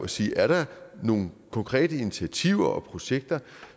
sige er der nogle konkrete initiativer og projekter